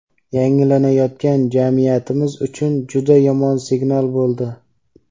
yangilanayotgan jamiyatimiz uchun juda yomon "signal" bo‘ldi.